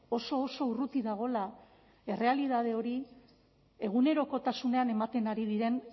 oso oso urruti dagoela errealitate hori egunerokotasunean ematen ari diren